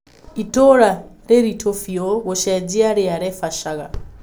Itũra rĩritũ biũ kucenjia riare Fashaga